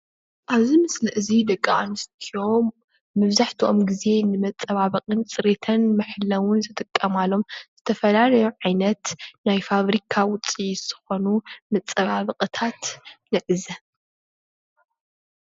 ኣብዚ ምስሊ እዚ ደቂ ኣንስትዮ መብዛሕትኦም ግዘ ንመፀባበቅን ፅሬትን መሐለዉን ዝጥቀማሎም ዝተፈላለዩ ዓይነት ናይ ፋብሪካ ዉፂኢት ዝኮኑ መፀባበቅታት ንዕዘብ